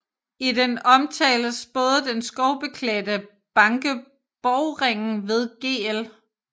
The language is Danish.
I den omtales både den skovklædte banke Borgringen ved Gl